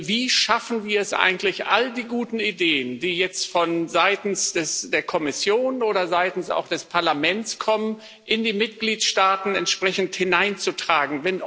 Wie schaffen wir es eigentlich, all die guten Ideen, die jetzt seitens der Kommission oder auch seitens des Parlaments kommen, in die Mitgliedsstaaten entsprechend hineinzutragen?